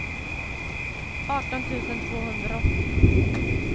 arton tusen tvåhundraåttio